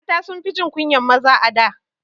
Mata sunfi jin kunyan maza a da